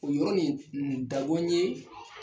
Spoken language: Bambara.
O yɔrɔ nin dabɔ ye